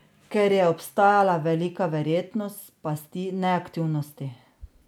Ker je obstajala velika verjetnost pasti neaktivnosti.